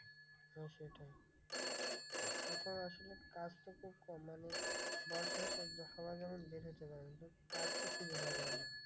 হ্যাঁ সেটাই। তখন আসলে কাজ তো খুব কম মানে বর্ষার স~ সময় যখন বের হতে পারে না, কাজ তো খুঁজে পাওয়া যায় না।